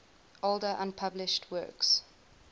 older unpublished works